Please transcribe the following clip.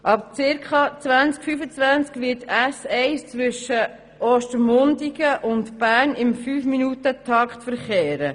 Ab circa 2025 wird die S1 zwischen Ostermundigen und Bern im 5Minuten-Takt verkehren.